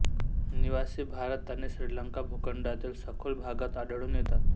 निवासी भारत आणि श्रीलंका भूखडातील सखोल भागात आढळून येतात